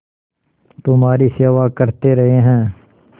तुम्हारी सेवा करते रहे हैं